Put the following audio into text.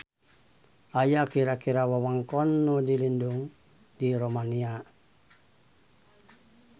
Aya kira-kira wewengkon nu dilindung di Romania.